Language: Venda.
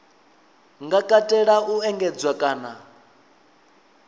nga katela u engedzedzwa kana